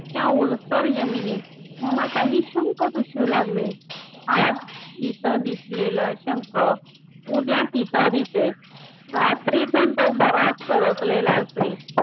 त्या ओलसर जमिनीत मला काही शंख दिसू लागले आज इथे दिसलेला शंख उद्या तिथं दिसे रात्रीतून तो बराच सरकलेला असे